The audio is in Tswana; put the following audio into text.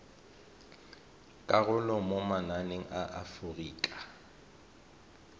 karolo mo mananeng a aforika